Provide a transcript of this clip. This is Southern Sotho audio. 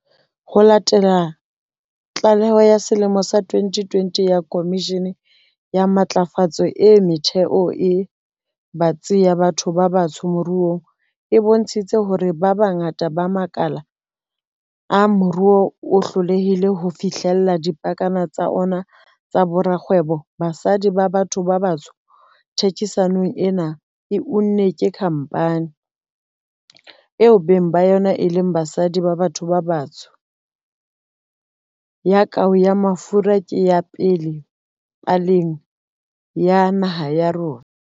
Ho latela tlaleho ya selemo sa 2020 ya Khomishene ya Matlafatso e Metheo e Batsi ya Batho ba Batsho Moruong, e bontshitseng hore bongata ba makala a moruo bo hlolehile ho fihlella dipakana tsa ona tsa borakgwebo ba basadi ba batho ba batsho, thekisetsano ena e unnweng ke khampani, eo beng ba yona e leng basadi ba batho ba batsho, ya kou ya mafura ke ya pele paleng ya naha ya rona.